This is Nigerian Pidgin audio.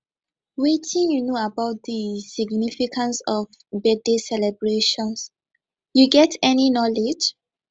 wetin you know about di significance of birthday celebrations you get any knowledge